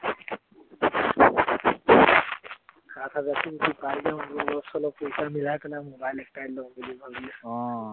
সাত হাজাৰটো পালে অলপ-চলপ পইচা মিলাই mobile একটাই লওঁ বুুলি ভাবি আছোঁ